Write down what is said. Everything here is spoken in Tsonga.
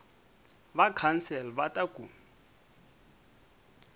va council va ta ku